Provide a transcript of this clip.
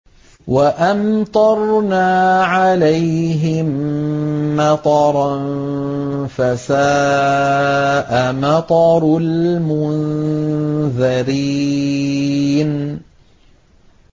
وَأَمْطَرْنَا عَلَيْهِم مَّطَرًا ۖ فَسَاءَ مَطَرُ الْمُنذَرِينَ